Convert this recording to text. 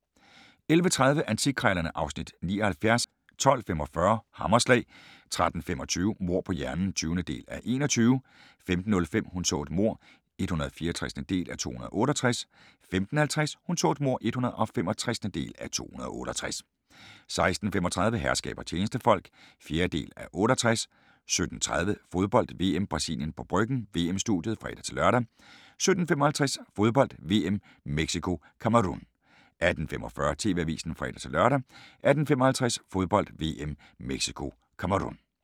11:30: Antikkrejlerne (Afs. 79) 12:45: Hammerslag 13:25: Mord på hjernen (20:21) 15:05: Hun så et mord (164:268) 15:50: Hun så et mord (165:268) 16:35: Herskab og tjenestefolk (4:68) 17:30: Fodbold: VM - Brasilien på Bryggen – VM-studiet (fre-lør) 17:55: Fodbold: VM - Mexico-Cameroun 18:45: TV-avisen (fre-lør) 18:55: Fodbold: VM - Mexico-Cameroun